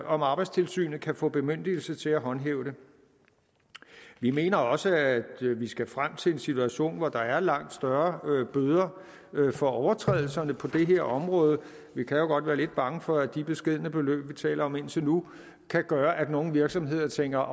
om arbejdstilsynet kan få bemyndigelse til at håndhæve det vi mener også at vi skal frem til en situation hvor der er langt større bøder for overtrædelserne på det her område vi kan jo godt være lidt bange for at de beskedne beløb vi taler om indtil nu kan gøre at nogle virksomheder tænker